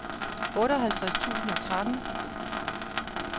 otteoghalvtreds tusind og tretten